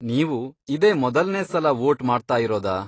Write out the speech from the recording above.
ನೀವು ಇದೇ ಮೊದಲ್ನೇ ಸಲ ವೋಟ್ ಮಾಡ್ತಾಯಿರೋದಾ?